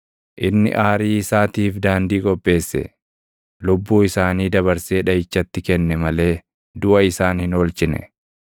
Inni aarii isaatiif daandii qopheesse; lubbuu isaanii dabarsee dhaʼichatti kenne malee duʼa isaan hin oolchine.